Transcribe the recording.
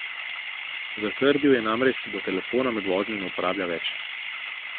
Zatrdil je namreč, da telefona med vožnjo ne uporablja več.